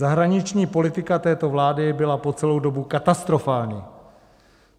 Zahraniční politika této vlády byla po celou dobu katastrofální.